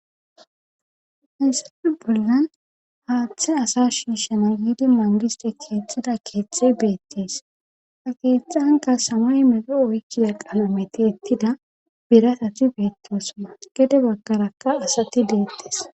hesafi bulyan haaththe asa shiishana giidi mangiste keexxida keexxey beettees ha keeththanka samay medo oykkida qalometi ettida biratati beettosona gede baggarakka asati deettees